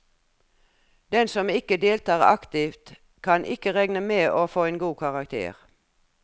Den som ikke deltar aktivt, kan ikke regne med å få en god karakter.